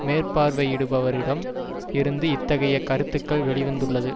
மேற்பார்வையிடுபவரிடம் இருந்து இத்தகைய கருத்துக்கள் வெளி வந்துள்ளது